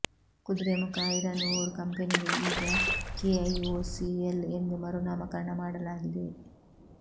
Kudremukh iron ore ಕಂಪೆನಿಗೆ ಈಗ KIOCL ಎಂದು ಮರು ನಾಮಕರಣ ಮಾಡಲಾಗಿದೆ